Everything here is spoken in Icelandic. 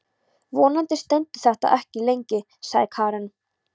Vonandi stendur þetta ekki lengi, sagði Karen.